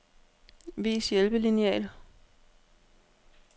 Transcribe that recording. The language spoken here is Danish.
Vis hjælpelineal.